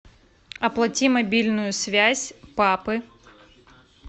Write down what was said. оплати мобильную связь папы